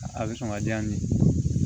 A bɛ sɔn ka di yan nin